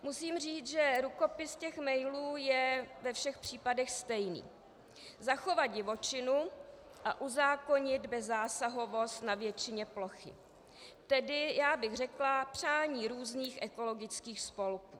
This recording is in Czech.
Musím říct, že rukopis těch mailů je ve všech případech stejný - zachovat divočinu a uzákonit bezzásahovost na většině plochy, tedy já bych řekla, přání různých ekologických spolků.